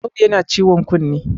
Audu yana ciwon kunne!